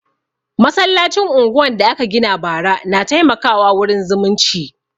Masallacin unguwan da aka gina bara na taimaka wa wurin zumunci